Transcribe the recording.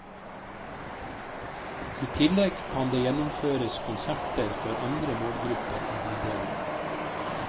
I tillegg kan det gjennomføres konserter for andre målgrupper i bydelene.